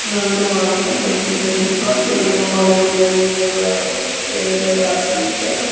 నగదు వాడకం తగ్గించండి కార్డ్ లను వాడండి అని ఒక పేర్లు రాసి ఉంచారు.